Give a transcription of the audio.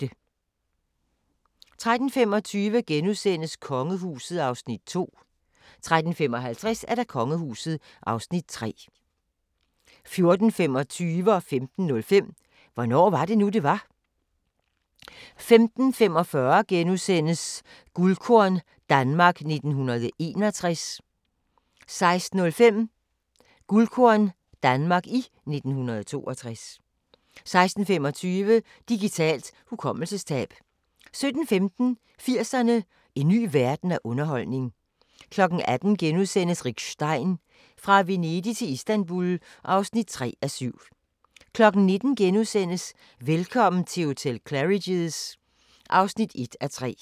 13:25: Kongehuset (Afs. 2)* 13:55: Kongehuset (Afs. 3) 14:25: Hvornår var det nu, det var? * 15:05: Hvornår var det nu, det var? 15:45: Guldkorn - Danmark 1961 * 16:05: Guldkorn - Danmark i 1962 16:25: Digitalt hukommelsestab 17:15: 80'erne: En ny verden af underholdning 18:00: Rick Stein: Fra Venedig til Istanbul (3:7)* 19:00: Velkommen til hotel Claridge's (1:3)*